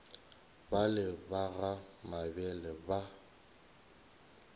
bale ba ga mabele ba